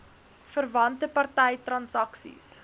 verwante party transaksies